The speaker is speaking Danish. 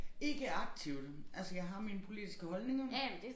Ikke aktivt altså jeg har mine politiske holdninger